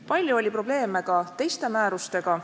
Palju oli probleeme ka teiste määrustega.